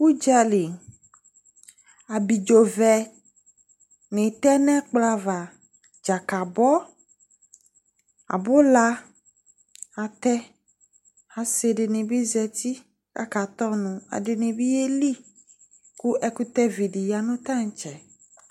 Udzali abidzo vɛni tɛ nu ɛkplɔ ava dzakali abula atɛ asi dini bi zati k akatɛ ɔnu ekʊtɛ vi di bi ya nu tantse